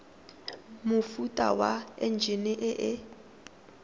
mofuta wa enjine e e